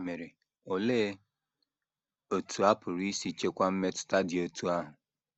Ya mere, olee otú a pụrụ isi chịkwaa mmetụta dị otú ahụ?